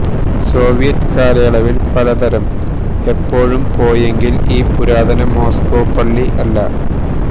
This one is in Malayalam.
സോവിയറ്റ് കാലയളവിൽ പലതരം ഇപ്പോഴും പോയെങ്കിൽ ഈ പുരാതന മോസ്കോ പള്ളി അല്ല